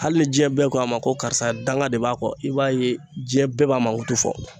Hali ni diɲɛ bɛɛ ko a ma ko karisa danga de b'a kɔ i b'a ye diɲɛ bɛɛ b'a mankutu fɔ